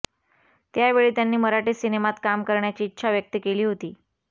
त्यावेळी त्यांनी मराठी सिनेमात काम करण्याची इच्छा व्यक्त केली होती